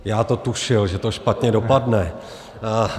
Já to tušil, že to špatně dopadne.